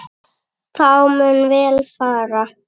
Þá mun vel fara.